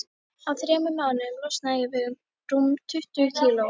Á þremur mánuðum losnaði ég við rúm tuttugu kíló.